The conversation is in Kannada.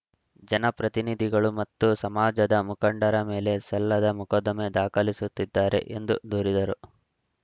ಜನಪ್ರತಿನಿಧಿಗಳು ಮತ್ತು ಸಮಾಜದ ಮುಖಂಡರ ಮೇಲೆ ಸಲ್ಲದ ಮೊಕದ್ದಮೆ ದಾಖಲಿಸುತ್ತಿದ್ದಾರೆ ಎಂದು ದೂರಿದರು